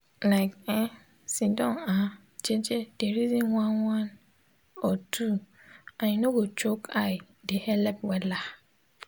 like[um]sitdon ah jeje de reson one one or two and u nor go choke eye de helep wella